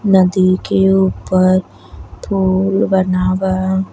नदी के ऊपर पुल बना बा।